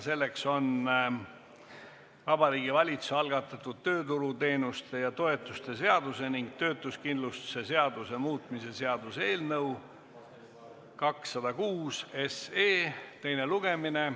See on Vabariigi Valitsuse algatatu tööturuteemuste ja -toetuste seaduse ning töötuskindlustuse seaduse muutmise seaduse eelnõu 206 teine lugemine.